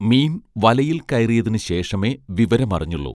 മീൻ വലയിൽ കയറിയതിന് ശേഷമേ വിവരമറിഞ്ഞുള്ളൂ